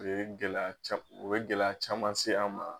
O ye gɛlɛya ca o ye gɛlɛya caman se an ma